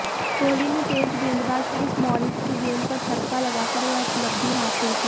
कोहली ने तेज गेंदबाज क्रिस मॉरिस की गेंद पर चौका लगाकर यह उपलब्धि हासिल की